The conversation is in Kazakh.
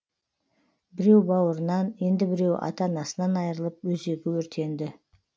біреу бауырынан енді біреуі ата анасынан айырылып өзегі өртенді